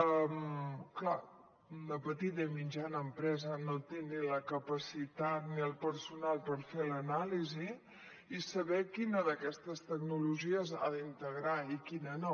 clar la petita i mitjana empresa no té ni la capacitat ni el personal per fer l’anàlisi i saber quina d’aquestes tecnologies ha d’integrar i quina no